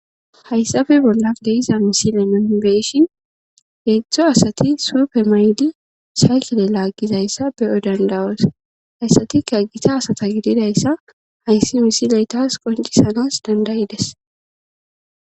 Hayssafe bolla deiza misile nonbeyshin heedzdzo asati suufe maydi shaykele laaggizayssa beyo dandawos hayssatika gita asata gididayssa hayssi misiletas qoncisanas dandayides